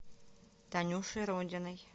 танюшей родиной